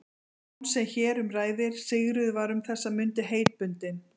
Jóns sem hér um ræðir, Sigríður, var um þessar mundir heitbundin